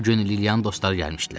Bu gün Liliyanın dostları gəlmişdilər.